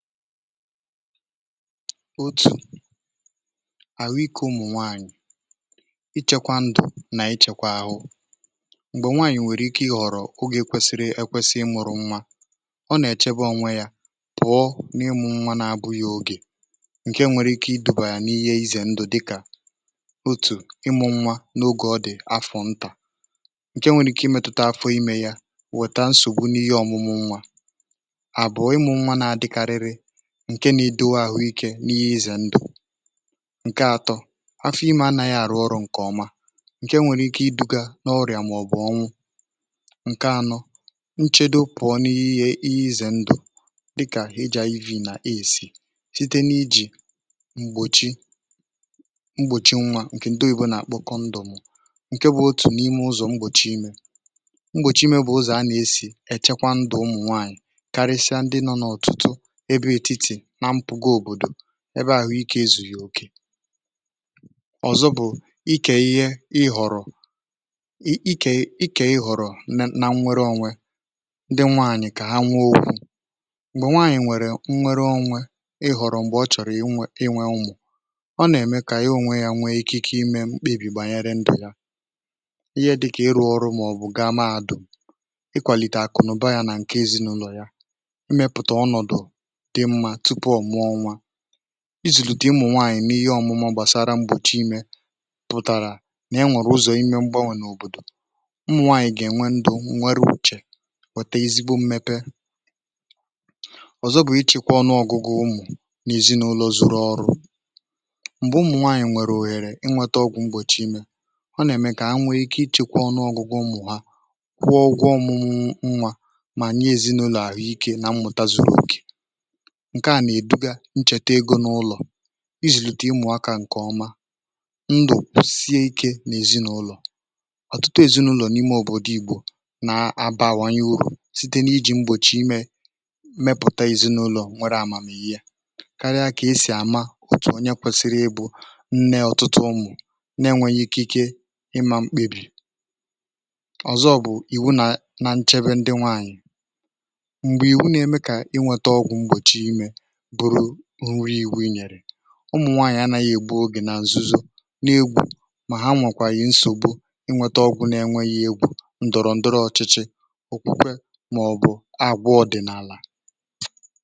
Otù ànụ ikė ụmụ̀ nwaanyị̀ ichekwa ndụ̀, n’ichekwa àhụ m̀gbè nwaanyị̀ nwèrè ike ị họ̀rọ̀ ogè kwesịrị ekwesị ịmụ̇rụ̇ nwa. Ọ nà-èchebe onwe ya pụ̀ọ n’ịmụ̇ nwa na-abụ̇ yogè ǹke nwere ike idùbàyà n’ihe izè ndụ̀. um, dị ka otù ịmụ̇ nwa n’ogè ọ dị̀ afọ̀ ntà, ǹke nwèrè ike imėtụta afọ imė ya, wèta nsògbu n’ihe ọmụ̇mụ̇ nwa. ǹke nà idu̇wȧ àhụ ikė n’ihe izè ndụ̀ ǹke atọ afọ̇ imė anȧghị àrụ ọrụ̇ nke ọma, ǹke nwèrè ike iduga n’ọrịà màọ̀bụ̀ ọnwụ̇. Nchedoepùọ n’ihe izè ndụ̀ dịkà eji̇ ev nà esì site n’ijì m̀gbòchi mgbòchi nwa, bụ otu ụzọ̀ eji echekwa ndụ̀ mụ̀ nwaanyị̀, karịsịa ndị nọ n’ọ̀tụtụ̀ n’ebe àhụ ikė ezù. Òkè ọ̀zọ bụ̀ ike ihe ihọrọ̀, ike ikè ihọrọ̀, nà nnwere onwe ndị nwaanyị̀ kà ha nwa okwu̇ nwere onwe ihọrọ̀ um mgbe ọ chọ̀rọ̀ iwe unwu̇, ọ nà-ème kà iwe onwe ịkị̇ imė mkpebì gbànyere ndụ̀ yȧ. Ihe dị kà ịrụ̇ ọrụ, màọ̀bụ̀ gàà, ma dùu ịkwàlìtè àkụnụ̀ba yȧ nà ǹkè èzinụlọ̀ ya. Enwèrè ụzọ̀ imė mgbȧwȧ n’òbòdò ṁmụ̇ nwaànyị̀, gà-ènwe ndù nnwere uchè, wètè ezigbo mmepe. Ọzọ bụ̀ ịchị̇kwa ọnụ ọ̀gụgụ ụmụ̀ n’èzinụlọ̀, zụrụ ọrụ̇ m̀gbè ụmụ̀ nwaànyị̀ nwèrè òhèrè inwėtȧ ọgwụ̇ mbòchi imė. Ọ nà-ème kà ha nwė ike ịchị̇kwa ọnụ ọ̀gụgụ mụ̀, ha kwụọ ọgwụ ọ̇mụ̇mụ̇ nwȧ, mà nye èzinụ̇lọ̀ àhụikė na mmụ̀ta zuru òkè. Ǹchètè egȯ n’ụlọ̀ i zìlìtè ịmụ̀ akȧ ǹkè ọma ndụ̀ sie ikė n’èzinụlọ̀, ọ̀tụtụ èzinụlọ̀ n’ime òbòdò igbò nà abàhànyaihu̇ site n’ijì mgbòchi imė. Mmepùta èzinụlọ̀ nwere àmàmihe yȧ, karịa kà esì àma òtù nyekwèsiri ịbụ̇ nne ọ̀tụtụ ụmụ̀, n'enweghi ikė ike ịmȧ mkpebì. Ọzọ bụ̀ ị̀wụ nà na nchebe ndị nwaanyị̀ m̀gbè ị̀wụ, n’eme kà inwėtė ọgwụ̀ mgbòchi imė ụmụ̀nwànyị̀ anȧghị̇ ègbu ogè nà nzuzo, mà ha mụ̀kwànyị̀ nsògbu ịnwėtȧ, ọbụ̇ n’enweghị egwu̇ ǹdọ̀rọ̀ndọrọ ọchịchị òkpukpe, màọ̀bụ̀ àgwọ ọ̀dị̀nàlà.